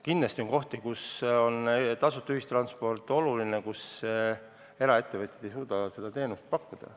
Kindlasti on kohti, kus on tasuta ühistransport oluline, kus eraettevõtjad ei suuda seda teenust pakkuda.